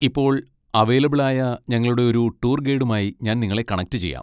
ഇപ്പൊ അവൈലബിൾ ആയ ഞങ്ങളുടെ ഒരു ടൂർ ഗൈഡുമായി ഞാൻ നിങ്ങളെ കണക്ട് ചെയ്യാം.